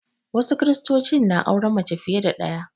Wasu Kiristocin na auren mace fiye da ɗaya